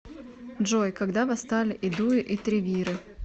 джой когда восстали эдуи и тревиры